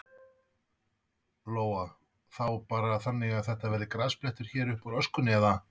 Lóa: Þá bara þannig að það verði grasblettur hér uppúr öskunni, eða?